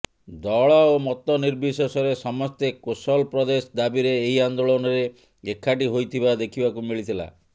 ଦଳ ଓ ମତ ନିର୍ବିଶେଷରେ ସମସ୍ତେ କୋଶଲ ପ୍ରଦେଶ ଦାବିରେ ଏହି ଆନ୍ଦୋଳନରେ ଏକାଠି ହୋଇଥିବା ଦେଖିବାକୁ ମିଳିଥିଲା